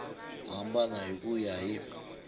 hambana hi ku ya hi